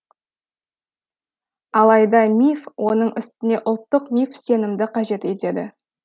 алайда миф оның үстіне ұлттық миф сенімді қажет етеді